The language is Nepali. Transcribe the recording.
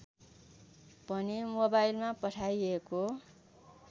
भने मोबाइलमा पठाइएको